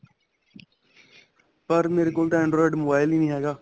ਪਰ ਮੇਰੇ ਕੋਲ ਤਾਂ android mobile ਹੀ ਨਹੀਂ ਹੈਗਾ